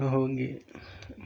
Rũhonge.